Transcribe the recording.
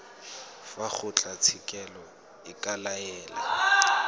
fa kgotlatshekelo e ka laela